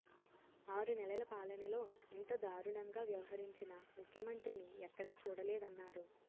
ఆరునెలల పాలనలో ఇంత దారుణంగా వ్యవహరించిన ముఖ్యమంత్రిని ఎక్కడా చూడలేదన్నారు